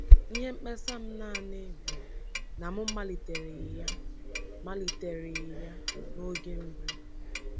Ihe mkpesa m naanị bụ na m malitereghị ya malitereghị ya n’oge mbụ.”